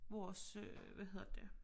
Vores øh hvad hedder det